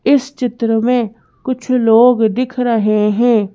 इस चित्र में कुछ लोग दिख रहे हैं।